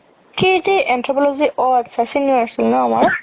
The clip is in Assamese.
সেই যে anthropology ৰ অ আতচা senior আছিল ন আমাৰ